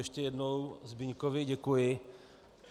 Ještě jednou Zbyňkovi děkuji.